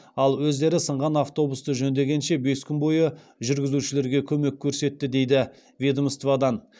ал өздері сынған автобусті жөндегенше бес күн бойы жүргізушілерге көмек көрсетті дейді ведомстводан